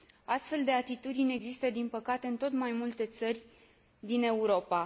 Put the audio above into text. Astfel de atitudini există, din păcate, în tot mai multe țări din Europa.